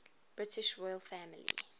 british royal family